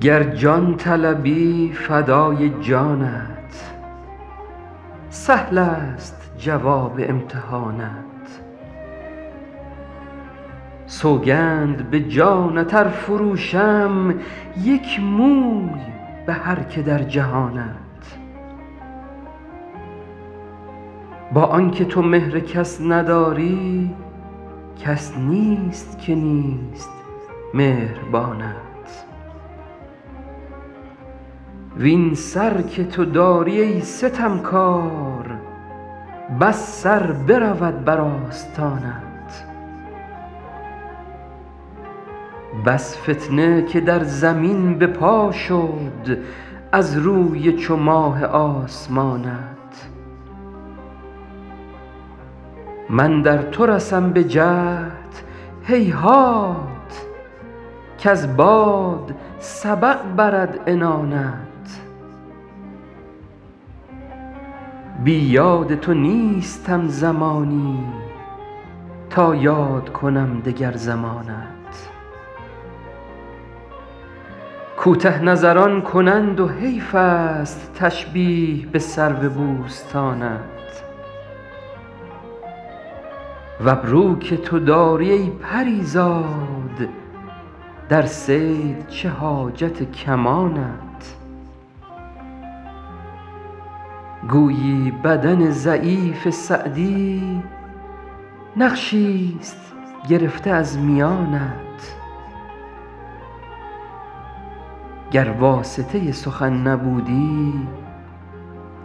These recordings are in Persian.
گر جان طلبی فدای جانت سهلست جواب امتحانت سوگند به جانت ار فروشم یک موی به هر که در جهانت با آن که تو مهر کس نداری کس نیست که نیست مهربانت وین سر که تو داری ای ستمکار بس سر برود بر آستانت بس فتنه که در زمین به پا شد از روی چو ماه آسمانت من در تو رسم به جهد هیهات کز باد سبق برد عنانت بی یاد تو نیستم زمانی تا یاد کنم دگر زمانت کوته نظران کنند و حیفست تشبیه به سرو بوستانت و ابرو که تو داری ای پری زاد در صید چه حاجت کمانت گویی بدن ضعیف سعدی نقشیست گرفته از میانت گر واسطه سخن نبودی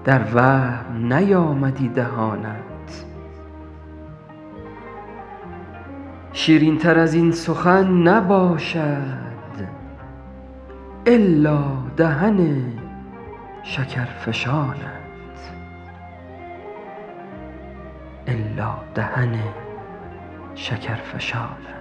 در وهم نیامدی دهانت شیرینتر از این سخن نباشد الا دهن شکرفشانت